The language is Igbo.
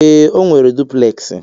Ee, o nwere dupleksi.